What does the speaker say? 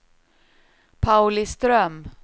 Pauliström